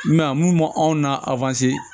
Mɛ mun anw na